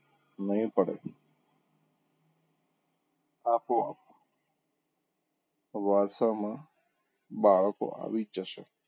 નહીં પડે આપોઆપ વારસામાં બાળકો આવી જ જશે.